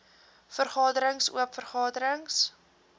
vergaderings oop vergaderings